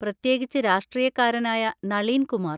പ്രത്യേകിച്ച് രാഷ്ട്രീയക്കാരനായ നളീൻ കുമാർ.